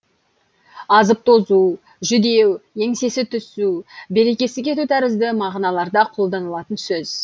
азып тозу жүдеу еңсесі түсу берекесі кету тәрізді мағыналарда қолданылатын сөз